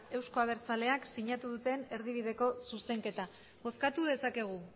euzko abertzaleak sinatu duten erdibideko zuzenketa bozkatu dezakegu